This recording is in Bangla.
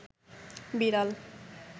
বিড়াল